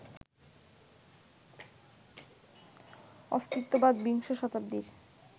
অস্তিত্ববাদ বিংশ শতাব্দীর